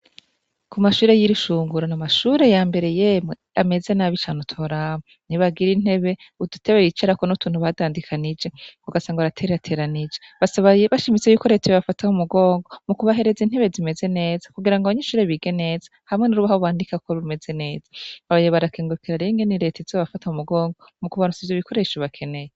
Ku mashure y'iri shungura ni amashure ya mbere yemwe ameze n'abo icaneutolamu ntibagira intebe udutebe yicarako n'utuntu badandikanije nko gasa ngo aratereateranije basaba bashimise yuko retewe bafataho umugongo mu kubahereza intebe zimeze neza kugira ngo abanye inshure bige neza hamwe n'urubaho bandikako rumeze neza abayobarakengekera renge n'iretizo abafata mu mugongwa mu kubarutsa ivyo bikoresho bakeneye.